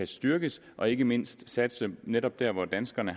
styrkes og ikke mindst til at satse netop der hvor danskerne